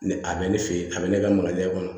Ni a bɛ ne fɛ yen a bɛ ne ka makalen e kɔnɔ